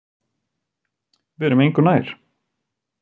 Við erum engu nær